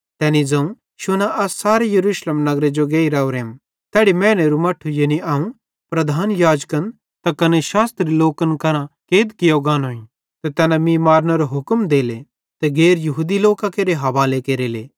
तैनी ज़ोवं शुना अस सारे यरूशलेम नगरे जो गेइ राओरेम तैड़ी मैनेरू मट्ठू यानी अवं प्रधान याजकन त कने शास्त्री लोकन केरां कैद कियो गानोईं त तैना मीं मारनेरो हुक्म देले त गैर यहूदी लोकां केरे हवाले केरले